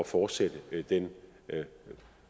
fortsætte den